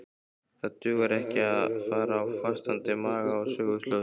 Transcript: Það dugar ekki að fara á fastandi maga á söguslóðir.